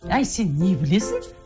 әй сен не білесің